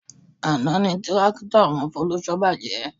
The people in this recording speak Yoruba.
Àná ni tírákítọ̀ àwọn Folúṣọ́ bàjẹ́